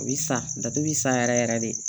A bi san datugu yɛrɛ yɛrɛ de